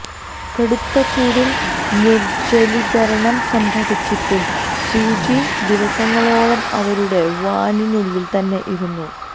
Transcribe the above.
കടുത്ത ചൂടിൽ നിർജ്ജലീകരണം സംഭവിച്ചിട്ടും സ്യൂചി ദിവസങ്ങളോളം അവരുടെ വാനിനുള്ളിൽ തന്നെ ഇരുന്നു